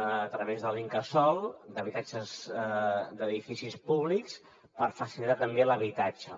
a través de l’incasòl d’habitatges d’edificis públics per facilitar també l’habitatge